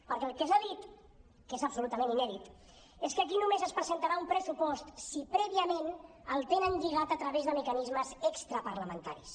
perquè el que s’ha dit que és absolutament inèdit és que aquí només es presentarà un pressupost si prèviament el tenen lligat a través de mecanismes extraparlamentaris